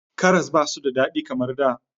Karas ba su da daɗi kamar da.